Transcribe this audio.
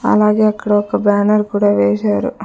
అలాగే అక్కడ ఒక బ్యానర్ కూడా వేశారు అ--